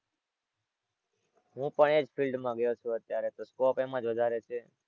હું પણ એજ field માં ગયો છું અત્યારે તો scope એમાં જ વધારે છે.